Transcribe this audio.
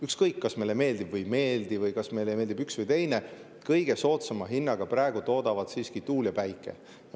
Ükskõik, kas meile meeldib või ei meeldi või kas meile meeldib üks või teine – kõige soodsama hinnaga toodavad praegu siiski tuul ja päike.